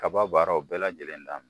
Kaba baaraw bɛɛ lajɛlen na